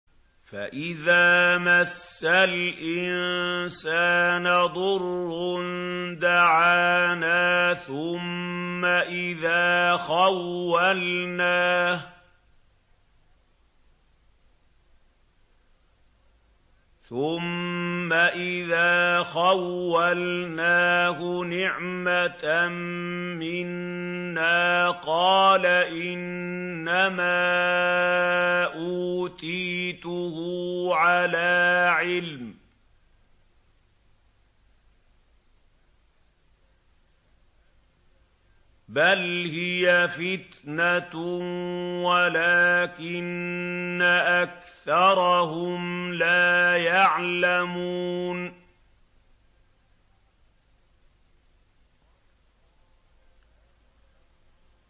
فَإِذَا مَسَّ الْإِنسَانَ ضُرٌّ دَعَانَا ثُمَّ إِذَا خَوَّلْنَاهُ نِعْمَةً مِّنَّا قَالَ إِنَّمَا أُوتِيتُهُ عَلَىٰ عِلْمٍ ۚ بَلْ هِيَ فِتْنَةٌ وَلَٰكِنَّ أَكْثَرَهُمْ لَا يَعْلَمُونَ